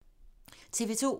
TV 2